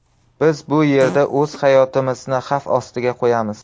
Biz bu yerda o‘z hayotimizni xavf ostiga qo‘yamiz.